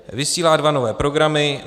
Vysílá dva nové programy.